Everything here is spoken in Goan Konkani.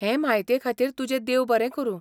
हे म्हायतेखातीर तुजें देव बरें करूं.